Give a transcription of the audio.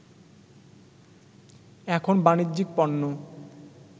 এখন বাণিজ্যিক পণ্য